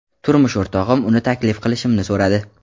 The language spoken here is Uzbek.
Turmush o‘rtog‘im uni taklif qilishimni so‘radi.